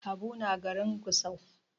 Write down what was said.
Habu na garin Gusau.